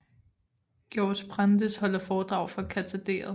Georg Brandes holder foredrag fra katederet